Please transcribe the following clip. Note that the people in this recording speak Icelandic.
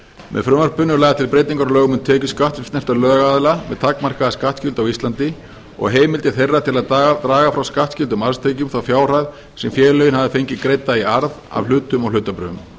með frumvarpinu eru lagðar til breytingar á lögum um tekjuskatt sem snerta lögaðila með takmarkaða skattskyldu á íslandi og heimildir þeirra til að draga frá skattskyldum matstekjum á fjárhæð sem félögin hafa fengið greidda í arð af hlutum og hlutabréfum